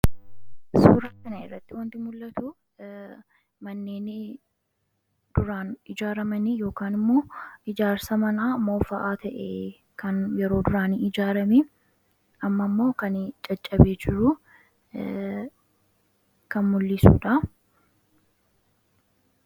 suuratina irratti wanti mul'atu manneenii duraan ijaaramanii yookan immoo ijaarsa manaa moofa'aa ta'e kan yeroo duraanii ijaarami amma ammoo kan caccabe jiruu kan mul'isuudha